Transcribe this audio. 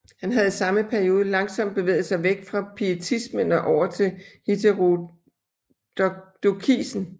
Han havde i samme periode langsomt bevæget sig væk fra pietismen og over til heterodokisen